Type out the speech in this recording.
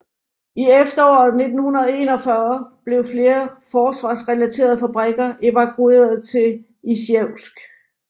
I efteråret 1941 blev flere forsvarsrelaterede fabrikker evakueret til Isjevsk